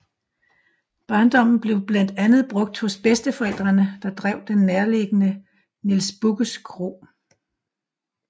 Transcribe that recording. Barndommen blev blandt andet brugt hos bedsteforældrene der drev den nærtliggende Niels Bugges Kro